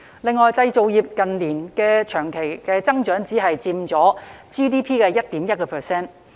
另外，製造業近年的長期增長只佔 GDP 的 1.1%。